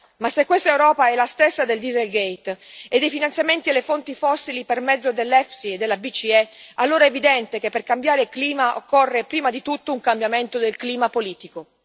Ma se questa Europa è la stessa del Dieselgate e dei finanziamenti alle fonti fossili per mezzo dell'EFSI e della BCE, allora è evidente che per cambiare clima occorre prima di tutto un cambiamento del clima politico.